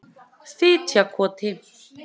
Fitjakoti